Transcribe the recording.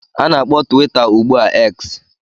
A na-akpọ Twitter ugbu a X